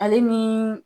Ale ni